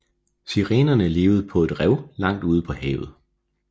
Sirenerne levede på et rev langt ude på havet